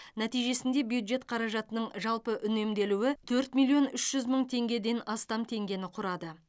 нәтижесінде бюджет қаражатының жалпы үнемделуі төрт миллион үш жүз мың теңгеден астам теңгені құрады